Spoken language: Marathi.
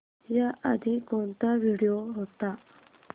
याआधी कोणता व्हिडिओ होता